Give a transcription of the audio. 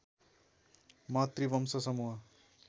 मातृवंश समूह